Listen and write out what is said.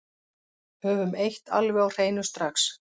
Höfum eitt alveg á hreinu strax